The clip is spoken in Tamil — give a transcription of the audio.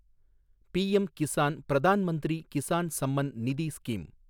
PM Kisan, Pradhan Mantri Kisan Samman Nidhi scheme